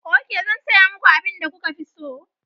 Ok, zan saya muku abin da kuka fi so.